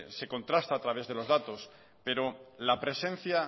se contrasta a través de los datos pero la presencia